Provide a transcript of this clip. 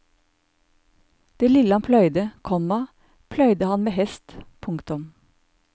Det lille han pløyde, komma pløyde han med hest. punktum